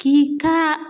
K'i ka